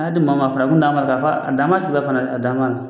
N'a di maa ma fana, a bɛ n'a nɔfɛ f'a a dan m'a tigi la fana a dan m'a na.